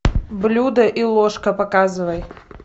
блюдо и ложка показывай